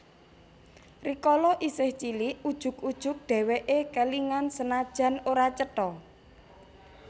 Rikala isih cilik ujug ujug dheweke kelingan senajan ora cetha